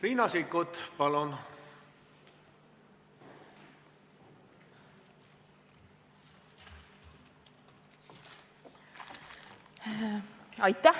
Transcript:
Riina Sikkut, palun!